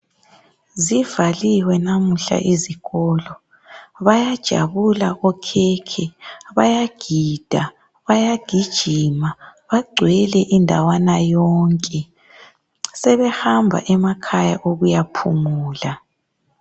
Zivaliwe lamuhla izikolo. Bayajabula okhekhe, bayagida, bayagijima, bagcwele indwana yonke , sebehamba emakhaya ukuyaphumula.